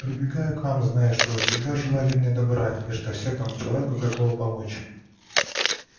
прибегаю к вам зная что вы всегда желали мне добра и что всякому человеку готовы помочь